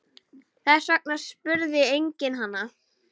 Þess vegna spurði enginn hana.